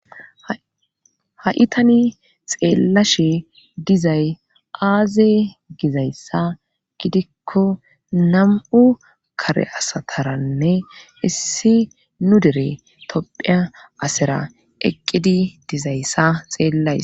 Ha7itani xeellashe dizay aaze gizayssa gidikko nam7u kare asataranne issi nu dere topheya asera eqqidi dizayssa xeellays.